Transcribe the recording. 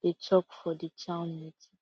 dey talk for the town meeting